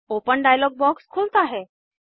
open dialog box खुलता है